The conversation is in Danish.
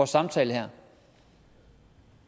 samtale her